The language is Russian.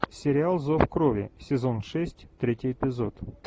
сериал зов крови сезон шесть третий эпизод